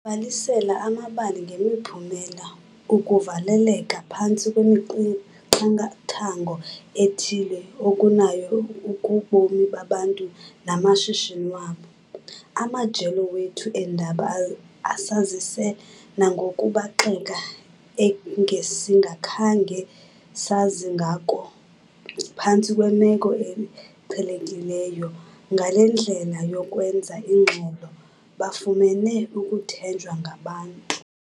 Babalise amabali ngemiphumela ukuvaleleka phantsi kwemiqathango ethile okunayo kubomi babantu namashishini wabo. Amajelo wethu eendaba asazise nangokubaxeka engesingakhange sazi ngako phantsi kwemeko eqhelekileyo. Ngale ndlela yokwenza ingxelo bafumene ukuthenjwa ngabantu.